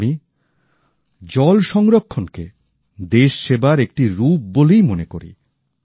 তাই আমি জলসংরক্ষণকে দেশ সেবার একটি রূপ বলেই মনে করি